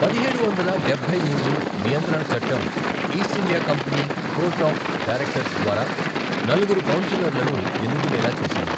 పదిహేడు వందల డబ్బై మూడు నియంత్రణ చట్టం East India Company court of directors ద్వారా నలుగురు కౌన్సెలర్లను ఎన్నుకునేలా చేసింది.